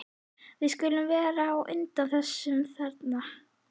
Við skulum vera á undan þessum þarna.